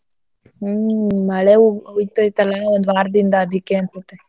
ಹ್ಮ್ ಮಳೆ ಹುಯ್ತೈತಲ್ಲ ಒಂದ್ ವಾರ್ದಿಂದ ಅದಿಕ್ಕೆ ಅನ್ಸತ್ತೆ.